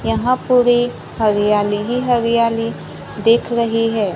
यहां पूरी हरियाली ही हरियाली दिख रही है।